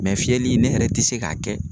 Mɛ fiyɛli ne yɛrɛ tɛ se k'a kɛ